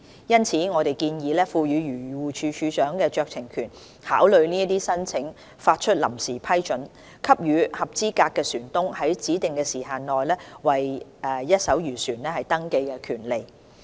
因此，我們建議賦予漁護署署長酌情權考慮這些申請，發出臨時批准，給予合資格船東在指定時限內為一艘漁船登記的權利。